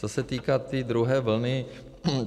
Co se týká té druhé vlny.